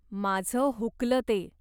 माझं हुकलं ते.